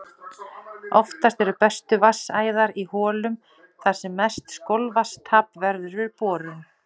Oftast eru bestu vatnsæðar í holum þar sem mest skolvatnstap verður við borun.